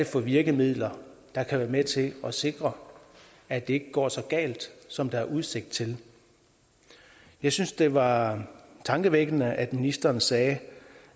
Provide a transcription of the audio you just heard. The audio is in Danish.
for virkemidler der kan være med til at sikre at det ikke går så galt som der er udsigt til jeg synes det var tankevækkende at ministeren sagde